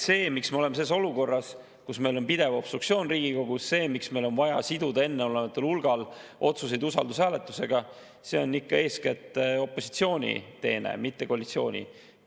See, miks me oleme selles olukorras, kus meil on pidev obstruktsioon Riigikogus, see, miks meil on vaja siduda enneolematul hulgal otsuseid usaldushääletusega, on ikka eeskätt opositsiooni, mitte koalitsiooni teene.